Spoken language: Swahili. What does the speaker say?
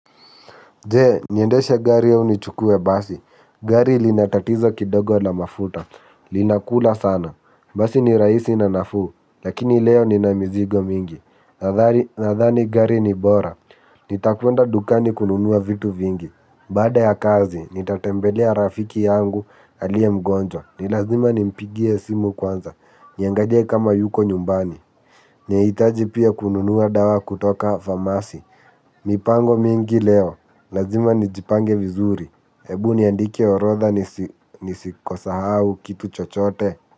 Jee, niendesha gari au nichukue basi. Gari linatatizo kidogo la mafuta. Linakula sana. Basi ni raisi na nafuu. Lakini leo nina mizigo mingi. Nadhani gari ni bora. Nitakuenda dukani kununuwa vitu vingi. Baada ya kazi, nitatembelea rafiki yangu alie mgonjwa. Ni lazima nimpigie simu kwanza. Niangalie kama yuko nyumbani. Naitaji pia kununua dawa kutoka famasi. Mipango mingi leo. Lazima nijipange vizuri. Ebu niandike orodha nisikoshau kitu chochote.